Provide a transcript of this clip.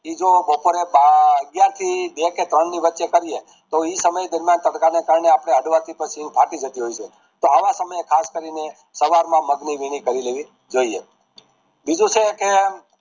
જો બપોરે બા અગિયાર થી બે કે ત્રણ ની વચ્ચે કરીએ તો ઈ સમય દરમિયાન તડકા ના time અપડે હાંફી જતા હોયૅ છે તો આવા સમયે ખાસ કરીને સવારમાં મગ ની વીણી કરી લેવી જોઈએ બીજું છે કે